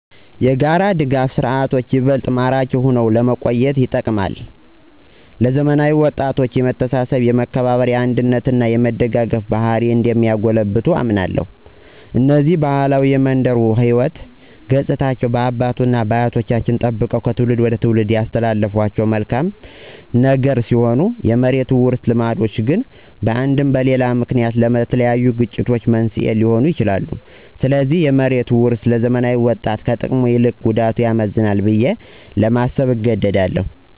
የጋራ ድጋፍ ስርዓቶች ይበልጥ ማራኪ ሆኖ ለመቆየት ይጠቅማል። ለዘመናዊ ወጣቶች የመተሳሰብ፣ የመከባበር፣ የአንድነት እና የመደጋገፍ ባህሪን እንደሚያጎለብት አምናለሁ። እነዚህ ባህላዊ የመንደር የሕይወት ገፅታዎች አባት አያቶቻችን ጠበቀው ከትውልድ ትውልድ ያስተላለፉት መልካም ነገር ሲሆን የመሬት ውርስ ልምዶች ግን በአንድም በሌላ ምክንያት ለተለያዩ የግጭት መንስኤ ሊሆኑ ይችላሉ። ስለዚህ የመሬት ውርስ ለዘመናዊ ወጣት ከጥቅሙ ይልቅ ጉዳቱ ያመዝናል ብዬ ለማሰብ እገደዳለሁ።